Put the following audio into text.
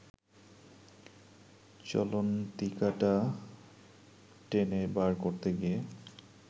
চলন্তিকাটা টেনে বার করতে গিয়ে